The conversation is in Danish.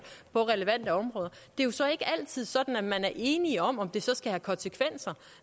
på relevante områder det er jo så ikke altid sådan at man er enige om om det så skal have konsekvenser